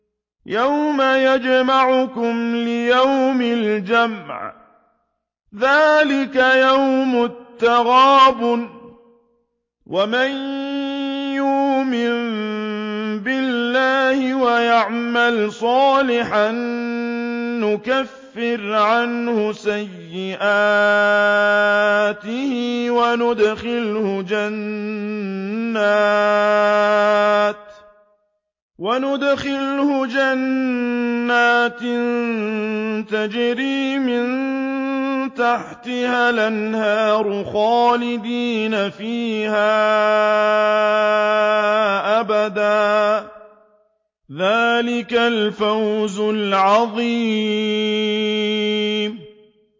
يَوْمَ يَجْمَعُكُمْ لِيَوْمِ الْجَمْعِ ۖ ذَٰلِكَ يَوْمُ التَّغَابُنِ ۗ وَمَن يُؤْمِن بِاللَّهِ وَيَعْمَلْ صَالِحًا يُكَفِّرْ عَنْهُ سَيِّئَاتِهِ وَيُدْخِلْهُ جَنَّاتٍ تَجْرِي مِن تَحْتِهَا الْأَنْهَارُ خَالِدِينَ فِيهَا أَبَدًا ۚ ذَٰلِكَ الْفَوْزُ الْعَظِيمُ